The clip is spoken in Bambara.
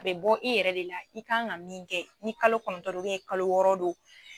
A bɛ bɔ i yɛrɛ de la i kan ka min kɛ ni kalo kɔnɔntɔn do kalo wɔɔrɔ do